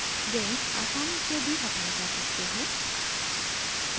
links आसानी से भी हटाये जा सकते हैं